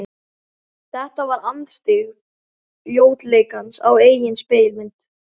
Þetta var andstyggð ljótleikans á eigin spegilmynd.